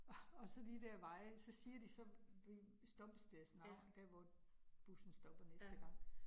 Og og så de dér veje, så siger de så stoppestedets navn dér, hvor bussen stopper næste gang